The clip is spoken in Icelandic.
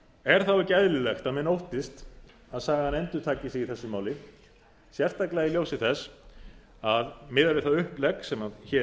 er þá ekki eðlilegt að menn óttist að sagan endurtaki sig í þessu máli sérstaklega í ljósi þess að miðað við það upplegg sem hér